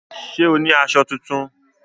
Ṣé o ní aṣọ tuntun?